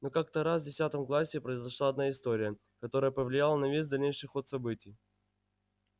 но как-то раз в десятом классе произошла одна история которая повлияла на весь дальнейший ход событий